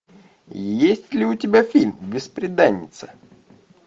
есть ли у тебя фильм бесприданница